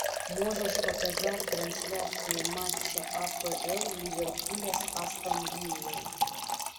можешь показать трансляцию матча апл ливерпуля с астон виллой